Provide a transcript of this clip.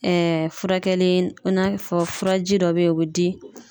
furakɛli in n'a fɔ furaji dɔ bɛ ye o bɛ di.